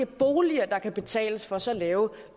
boliger der kan betales for så lave